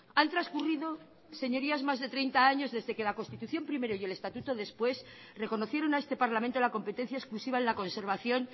han transcurrido señorías más de treinta años desde que la constitución primero y el estatuto después reconocieron a este parlamento la competencia exclusiva en la conservación